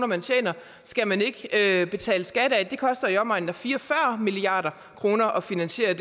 man tjener skal man ikke betale skat af det koster i omegnen af fire og fyrre milliard kroner at finansiere